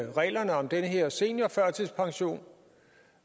reglerne om den her seniorførtidspension